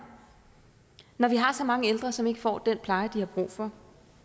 når vi har så mange ældre som ikke får den pleje de har brug for